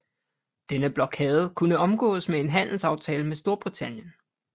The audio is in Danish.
Denne blokade kunne omgås med en handelsaftale med Storbritannien